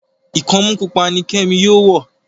ikọmu pupa ní kemi yóò wọ.